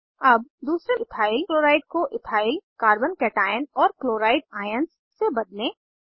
अब दूसरे ethyl chloride को इथाइल कार्बन कैटाइअन और क्लोराइड आयन्स से बदलें